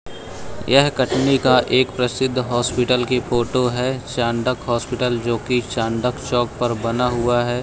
यह कटनी का एक प्रसिद्ध हॉस्पिटल की फोटो है चांडक हॉस्पियल जो कि चांडक चौक पर बना हुआ है।